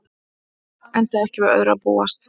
Enda ekki við öðru að búast